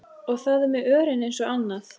Og það er með örin eins og annað.